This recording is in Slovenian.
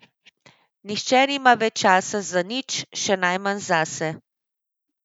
Nihče nima več časa za nič, še najmanj zase.